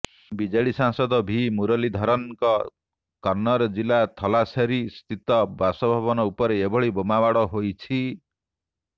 BJP ସାଂସଦ V ମୁରଲୀଧରନ୍ଙ୍କ କନ୍ନୁର ଜିଲ୍ଲା ଥଲାସେରୀ ସ୍ଥିତ ବାସଭବନ ଉପରେ ଏଭଳି ବୋମାମାଡ଼ ହୋଇଛି